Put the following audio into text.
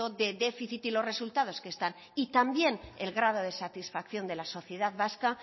de déficit y de los resultados que están y también el grado de satisfacción de la sociedad vasca